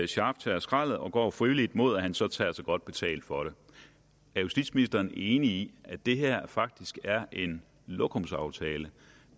scharf tager skraldet og går frivilligt mod at han så tager sig godt betalt for det er justitsministeren enig i at det her faktisk er en lokumsaftale